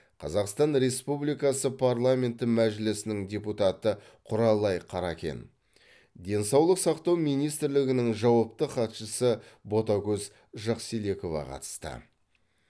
қазақстан республикасы парламенті мәжілісінің депутаты құралай қаракен денсаулық сақтау министрлігінің жауапты хатшысы ботакөз жакселекова қатысты